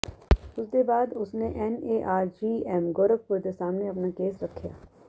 ਇਸ ਦੇ ਬਾਅਦ ਉਸਨੇ ਐਨਏਆਰ ਜੀਐਮ ਗੋਰਖਪੁਰ ਦੇ ਸਾਹਮਣੇ ਆਪਣਾ ਕੇਸ ਰੱਖਿਆ